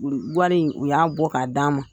wari in u y'a bɔ k'a d'an ma.